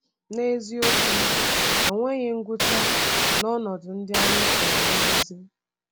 N’eziokwu, enweghị ngwụcha n’ọnọdụ ndị anyị chọrọ nduzi.